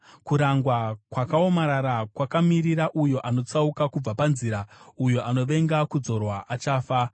Kurangwa kwakaomarara kwakamirira uyo anotsauka kubva panzira; uyo anovenga kudzorwa achafa.